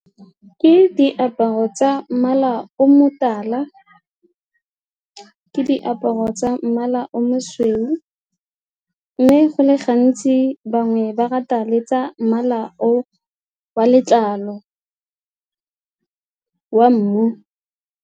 Ke diaparo tsa mmala o motala ka diaparo tsa mmala o mosweu mme go le gantsi bangwe ba rata le tsa mmala o wa letlalo wa mmu.